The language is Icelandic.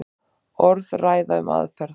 Orðræða um aðferð.